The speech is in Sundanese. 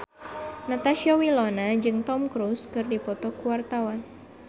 Natasha Wilona jeung Tom Cruise keur dipoto ku wartawan